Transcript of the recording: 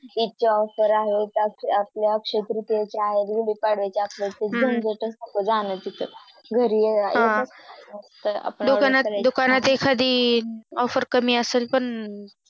इतक्या Offer आहे आपल्या अक्षय तृतीयेच्याआहे गुढी पाढव्याच्या आपल्या कुठे जाण्याची घरी हम्म तर दुकानात एखादी Offer कमी असेल पण